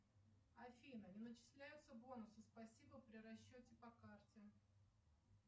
афина не начисляются бонусы спасибо при расчете по карте